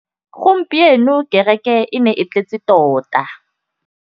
Gompieno kêrêkê e ne e tletse tota.